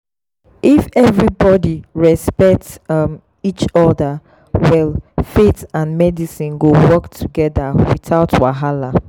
if everybody respect um each other well faith and medicine go work together without wahala.